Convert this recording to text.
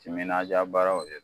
Timinadiya baaraw de d